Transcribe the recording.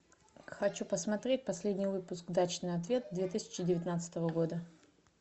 хочу посмотреть последний выпуск дачный ответ две тысячи девятнадцатого года